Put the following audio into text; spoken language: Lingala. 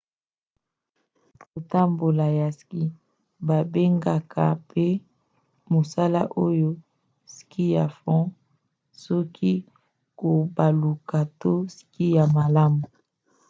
kotambola ya ski: babengaka mpe mosala oyo ski ya fond ski ya kobaluka to ski ya malamu